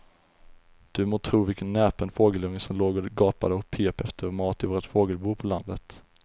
Du må tro vilken näpen fågelunge som låg och gapade och pep efter mat i vårt fågelbo på landet.